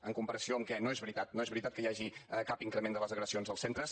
en comparació amb què no és veritat no és veritat que hi hagi cap increment de les agressions als centres